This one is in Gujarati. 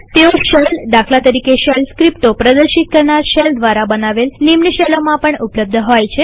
તેઓ શેલદાખલા તરીકે શેલ સ્ક્રિપ્ટો પ્રદર્શિત કરનાર શેલ દ્વારા બનાવેલ નિમ્ન શેલોમાં પણ ઉપલબ્ધ હોય છે